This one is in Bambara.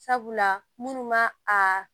Sabula minnu ma a